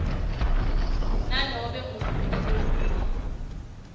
nanobe nguluphi lolunye